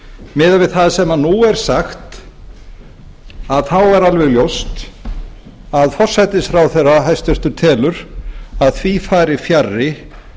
miðað við það sem nú er sagt er alveg ljóst að forsætisráðherra hæstvirtur telur að því fari fjarri